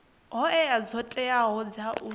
hoea dzo teaho dza u